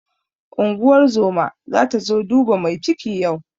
Unguwar zoma zata zo duba mai ciki yau.